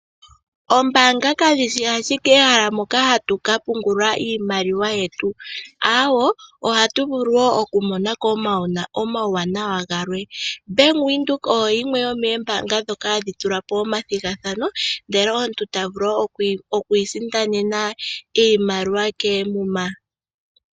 Oombaanga kadhi shi ashike ehala moka hatu ka pungula iimaliwa yetu . Ohatu vulu okumona ko omauwanawa galwe. Bank Windhoek oyo yimwe yomoombaanga ndhoka hadhi tulapo omuthigathano ndele omuntu tavulu okwiisindanena iimaliwa koomuma.